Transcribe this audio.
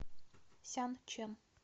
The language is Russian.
сянчэн